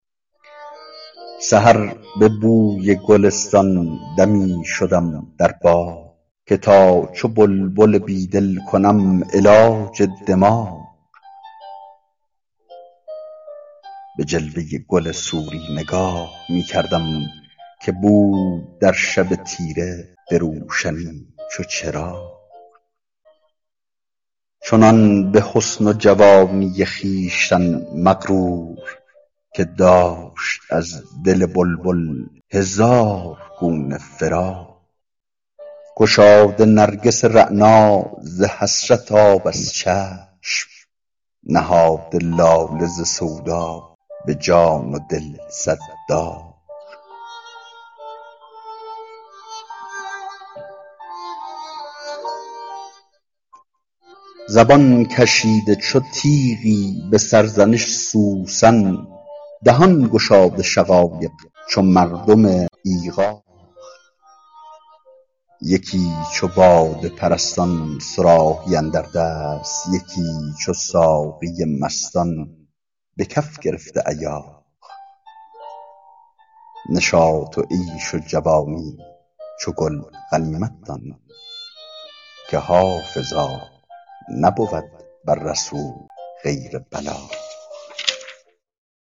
سحر به بوی گلستان دمی شدم در باغ که تا چو بلبل بیدل کنم علاج دماغ به جلوه گل سوری نگاه می کردم که بود در شب تیره به روشنی چو چراغ چنان به حسن و جوانی خویشتن مغرور که داشت از دل بلبل هزار گونه فراغ گشاده نرگس رعنا ز حسرت آب از چشم نهاده لاله ز سودا به جان و دل صد داغ زبان کشیده چو تیغی به سرزنش سوسن دهان گشاده شقایق چو مردم ایغاغ یکی چو باده پرستان صراحی اندر دست یکی چو ساقی مستان به کف گرفته ایاغ نشاط و عیش و جوانی چو گل غنیمت دان که حافظا نبود بر رسول غیر بلاغ